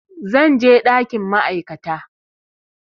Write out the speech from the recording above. Zan je ɗakin ma'aikata